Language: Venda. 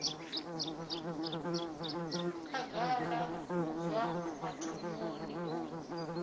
khagala u bva mathomoni u